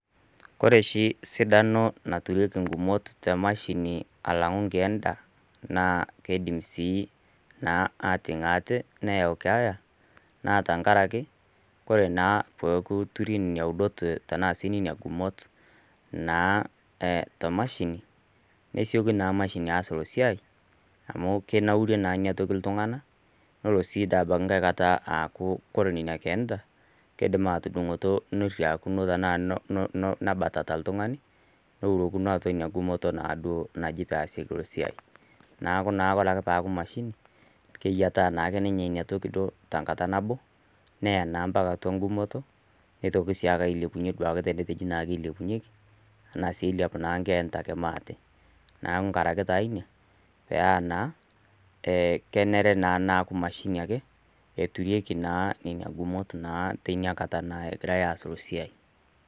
Ore oshi sidano naturi ing'umot te emashini alang'u inkeenda, naa keidim sii ating' aate, neyau enkeeya, naa tenkaraki, kore naa pee eturi sii nena gumot tanaa sii nena gumot naa te mashini, nesioki naa emashini aas ilo siai, amu keinaurie naa ina toki naa iltung'ana nelo aaku tenkai kata ore nena keenta, keidim atudung'oto neriakino tanaa nebatata oltung'ani, neurokino naa atua ina gumoto najoitoi naaduo pee easieki esiai. Neaku ore naa peaku emashini, keyietaa naake ninche na toki tenkata nabo, neyaa naa ompaka atua eng'umoto, neitoki sii naake aiepunye tenetejoki naaji eilepunyeki, ashu naa eilepu ake nkeenta mo ate. Neaku naa tenkaraki naa ina, paa naa kenare naa neaku emashini naa eturieki naa nena gumot naa egirai aasie esiai.